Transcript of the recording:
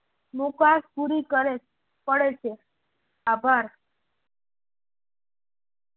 મુકાશ પુરી કરવી પડે છે. આભાર.